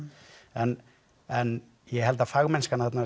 en en ég held að fagmennskan þarna